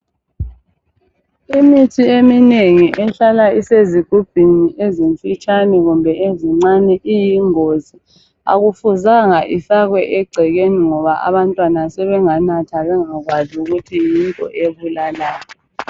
Imithi eminengi ehlala esezigubhini ezimfitshane kumbe ezincane iyingozi. Akufuzanga ifake egcekeni ngoba abantwana sebenganatha bengakwazi ukuthi yinto ebulalayo.